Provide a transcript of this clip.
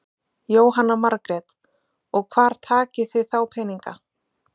Jóhanna Margrét: Og hvar takið þið þá peninga?